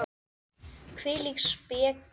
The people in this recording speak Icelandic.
Hvílík speki!